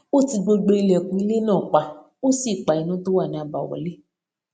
ó ti gbogbo ilèkùn inú ilé náà pa ó sì pa iná tó wà ní àbáwọlé